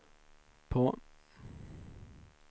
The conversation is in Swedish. på